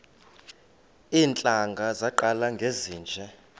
iintlanga zaqala ngezinje